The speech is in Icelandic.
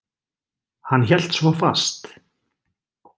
Hann hélt svo fast.